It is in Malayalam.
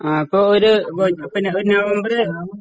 ആ അപ്പോ ഒരു പിന്നെ നവംബര്